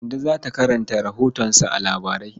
Kande za ta karanta rahotonsa a labarai.